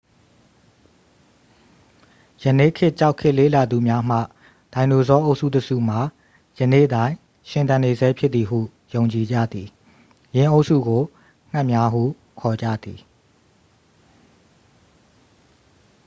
ယနေ့ခေတ်ကျောက်ခေတ်လေ့လာသူများမှ ဒိုင်နိုဆောအုပ်စုတစ်စုမှာ ယနေ့တိုင်ရှင်သန်နေဆဲဖြစ်သည်ဟု ယုံကြည်ကြသည် ယင်းအုပ်စုကို ငှက်များ ဟုခေါ်ကြသည်